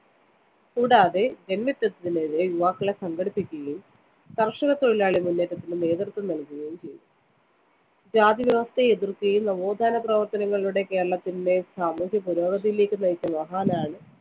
കൂടാതെ ജന്മിത്തത്തിനെതിരെ യുവാക്കളെ സംഘടിപ്പിക്കുകയും കര്‍ഷകത്തൊഴിലാളി മുന്നേറ്റത്തിന് നേതൃത്വം നല്‍കുകയും ചെയ്തു. ജാതിവ്യവസ്ഥയെ എതിര്‍ക്കുകയും നവോത്ഥാനപ്രവര്‍ത്തനങ്ങളിലൂടെ കേരളത്തിനെ സാമൂഹ്യപുരോഗതിയിലേക്ക് നയിച്ച മഹാനാണ്